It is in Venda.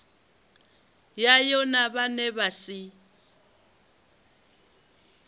yayo na vhane vha si